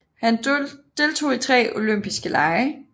Han deltog i tre olympiske lege